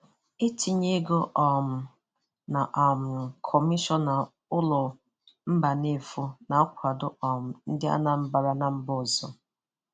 Itinye ego um na um kọmishọna ụlọ Mbanefo na-akwado um ndi anambra na mba ọzọ.